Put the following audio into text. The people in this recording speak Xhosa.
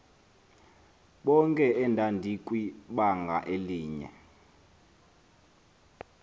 bonke endandikwibanga elinye